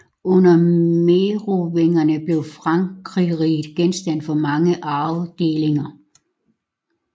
Under merovingerne blev Frankerriget genstand for mange arvedelinger